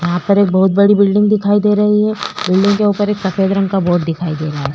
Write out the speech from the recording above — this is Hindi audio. यहाँ पर ये एक बहोत बड़ी बिल्डिंग दिखाई दे रही है। बिल्डिंग के उपर एक सफ़ेद रंग का बोर्ड दिखाई दे रहा है।